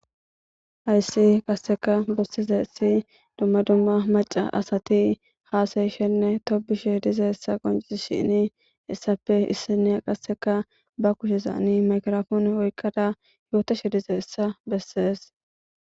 Hayssi qasseka bussize essi dumma dumma maca asati haasayishenne tobishe dize essa qoncisi shini essappe issine qasseka ba kushezaani makrafoone oykkada yootashe dize hessa bessees